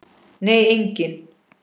Nei engin.